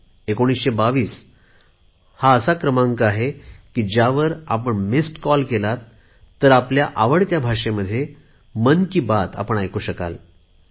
हा एकोणीसशे बावीस हा असा क्रमांक आहे की ज्यावर आपण मिसड् कॉल केला तर आपल्या आवडत्या भाषेत मन की बात ऐकू शकता